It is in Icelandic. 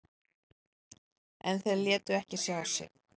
En þeir létu ekki sjá sig.